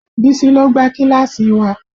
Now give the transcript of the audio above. Bísí ló gbá kíláàsì wa